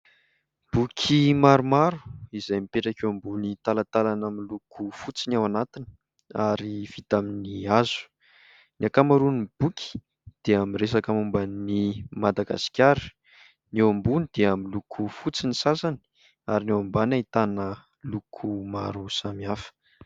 Boky maromaro izay mipetraka eo ambony talatalana miloko fotsy ny ao anatiny ary vita amin'ny hazo, ny ankamaroan'ny boky dia miresaka momba an'i Madagasikara ; ny eo ambony dia miloko fotsy ny sasany ary ny eo ambany ahitana loko maro samihafa.